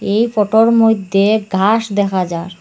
এই ফটো -এর মইধ্যে ঘাস দেখা যার ।